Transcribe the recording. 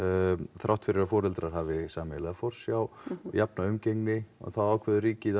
þrátt fyrir að foreldrar hafi sameiginlega forsjá jafna umgengni þá ákveður ríkið að